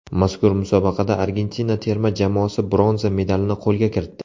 Mazkur musobaqada Argentina terma jamoasi bronza medalini qo‘lga kiritdi.